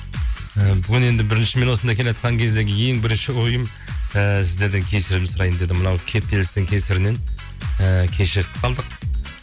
і бүгін енді бірінші мен осында келеатқан кездегі ең бірінші ойым ііі сіздерден кешірім сұрайын дедім мынау кептелістің кесірінен і кешігіп қалдық